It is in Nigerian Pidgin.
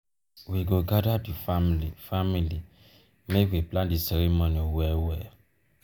explain di um meaning and reason for di culture wey culture wey your guest no um understand um give dem